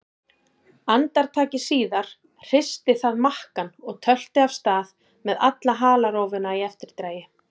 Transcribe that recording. Andartaki síðar hristi það makkann og tölti af stað með alla halarófuna í eftirdragi.